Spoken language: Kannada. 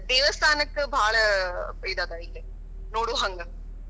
ದೇವಸ್ಥಾನಕ್ಕ ಬಾಳ ಇದ್ ಅದ ಇಲ್ಲಿ ನೋಡೋಹಂಗ.